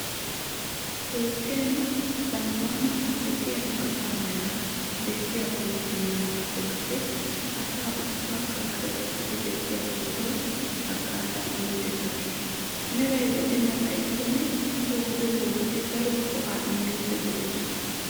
Toophphiyan zammaana ogiyan asaa meraa bessiya pootoy yaanaappe kase asaa ubbaakka karexissidi bessiya pootoy haggaazaa immiiddi takkiis. Meray lo"ana xayikkonne he wode poototi daro go"aa immiiddi de'oosona.